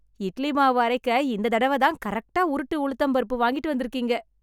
இட்லி மாவு அரைக்க, இந்த தடவதான் கரெக்ட்டா உருட்டு உளுந்தம் பருப்பு வாங்கிட்டு வந்துருக்கீங்க.